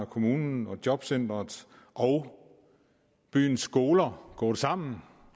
kommunen og jobcenteret og byens skoler gået sammen